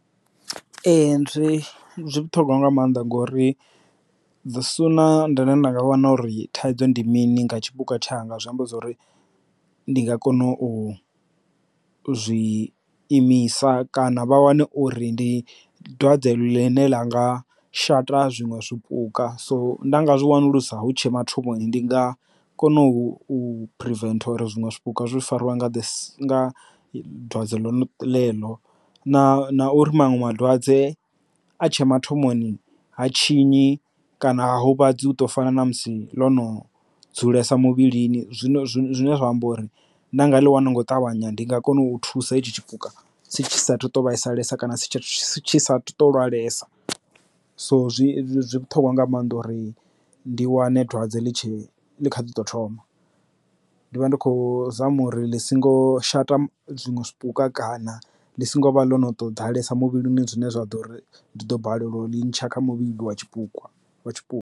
Ee ri zwi vhuṱhogwa nga maanḓa ngori dzo suna nda ne nda nga vha wana uri thaidzo ndi mini nga tshipuka tshanga zwi amba zwori ndi nga kona u zwi imisa, kana vha wane uri ndi dwadze ḽine ḽa nga shata zwiṅwe zwipuka so nda nga zwi wanulusa hu tshe mathomo ndi nga kona u prevent uri zwiṅwe zwipuka zwi fariwa nga nga dwadze ḽeḽo. Na uri manwe malwadze a tshe mathomoni ha tshinzhi kana ha huvhadzi u to fana na musi ḽo no dzulesa muvhilini zwino zwi zwine zwa amba uri na nga ḽi wana ngo ṱavhanya ndi nga kona u thusa etshi tshipuka tshi sathu to vhaisala sa kana tshi sa tu to lwalesa so zwi vhuṱhogwa nga maanḓa uri ndi wane dwadze ḽi tshe ḽi kha ḓi tou thoma ndi vha ndi kho zama uri ḽi singo shata zwiṅwe zwipuka kana ḽi singo vha ḽo no tou ḓalesa muvhilini zwine zwa ḓo uri ndi ḓo balelwa ḽi ntsha kha muvhili wa tshipuka wa tshipuka.